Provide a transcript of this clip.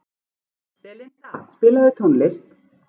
Belinda, spilaðu tónlist.